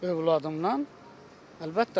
Övladımdan əlbəttə razıyam.